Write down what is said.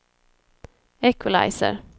equalizer